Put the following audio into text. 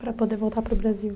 Para poder voltar para o Brasil.